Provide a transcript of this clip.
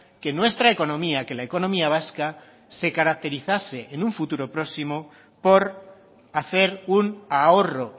que nuestra economía que la economía vasca se caracterizase en un futuro próximo por hacer un ahorro